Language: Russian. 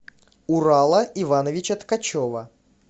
урала ивановича ткачева